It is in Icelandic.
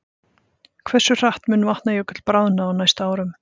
Hversu hratt mun Vatnajökull bráðna á næstu árum?